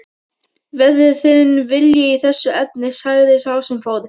Verði þinn vilji í þessu efni sagði sá sem fór.